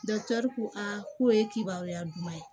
ko aa k'o ye kibaruya duman ye